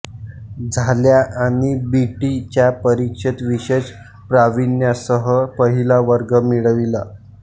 झाल्या आणि B T च्या परीक्षेत विशेष प्रावीण्यासह पहिला वर्ग मिळविला